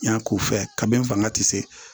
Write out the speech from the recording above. Yan k'u fɛ kabini n fanga tɛ se